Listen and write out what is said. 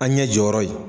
An ɲɛ jɔyɔrɔ ye